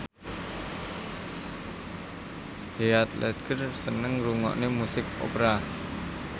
Heath Ledger seneng ngrungokne musik opera